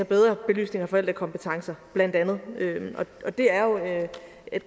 bedre belysninger af forældrekompetencer bla og det